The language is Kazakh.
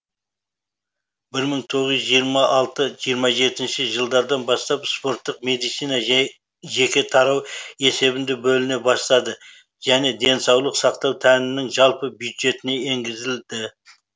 бір мың тоғыз жүз жиырма алты жиырма жетінші жылдардан бастап спорттық медицина жеке тарау есебінде бөліне бастады және денсаулық сақтау тәннің жалпы бюджетіне енгізілді